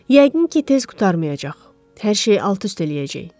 Yəqin ki, tez qurtarmayacaq, hər şey alt-üst eləyəcək.